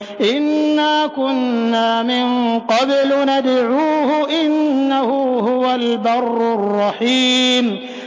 إِنَّا كُنَّا مِن قَبْلُ نَدْعُوهُ ۖ إِنَّهُ هُوَ الْبَرُّ الرَّحِيمُ